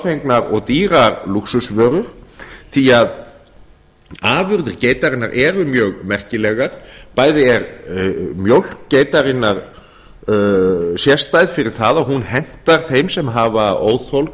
torfengnar og dýrar lúxusvörur því að afurðir geitarinnar eru mjög merkilegar bæði er mjólk geitarinnar sérstæð fyrir það að hún hentar þeim sem hafa óþol